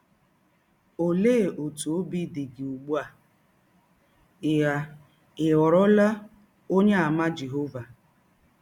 Ọlee ọtụ ọbi dị gị ụgbụ a ị a ị ghọrọla Ọnyeàmà Jehọva?